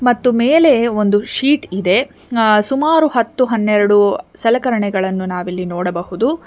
ಮತ್ತು ಮೇಲೆ ಒಂದು ಶೀಟ್ ಇದೆ ಅ ಸುಮಾರು ಹತ್ತು ಹನ್ನೆರಡು ಸಲಕರಣೆಗಳನ್ನು ನಾವಿಲ್ಲಿ ನೋಡಬಹುದು.